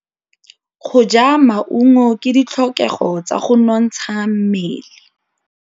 Go ja maungo ke ditlhokegô tsa go nontsha mmele.